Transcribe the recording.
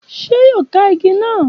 Ṣé yóò ka igi náà?